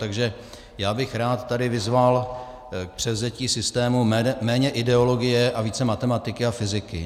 Takže já bych rád tady vyzval k převzetí systému méně ideologie a více matematiky a fyziky.